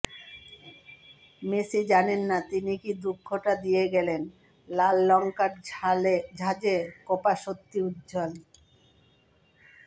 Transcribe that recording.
Messi জানেন না তিনি কী দুঃখটা দিয়ে গেলেন লাল লঙ্কার ঝাঁঝে কোপা সত্যি উজ্বল